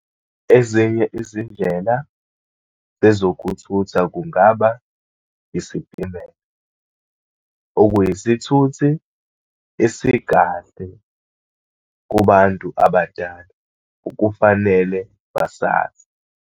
Ezinye izindlela ezokuthutha kungaba, isitimela okuyisithuthi esikahle kubantu abadala, okufanele basazi.